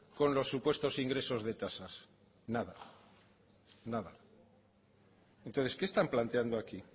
con los supuestos ingresos de tasas nada nada entonces qué están planteando aquí